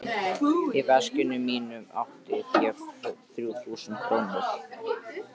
Í veskinu mínu átti ég þrjú þúsund krónur.